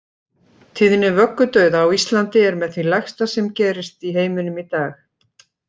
Tíðni vöggudauða á Íslandi er með því lægsta sem gerist í heiminum í dag.